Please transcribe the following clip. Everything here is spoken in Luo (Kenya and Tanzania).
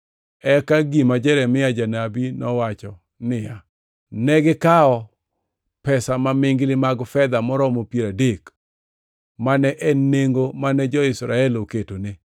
Eka gima Jeremia janabi nowacho niya, “Negikawo pesa mamingli mag fedha moromo piero adek, mane en nengo mane jo-Israel oketone,